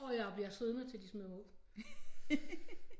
Og jeg bliver siddende til de smider mig ud